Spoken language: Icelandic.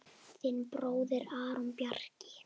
Þinn bróðir, Arnór Bjarki.